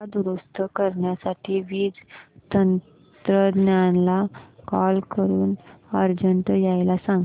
पंखा दुरुस्त करण्यासाठी वीज तंत्रज्ञला कॉल करून अर्जंट यायला सांग